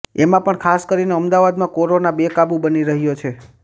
એમા પણ ખાસ કરીને અમદાવાદમાં કોરોના બેકાબુ બની રહ્યો છે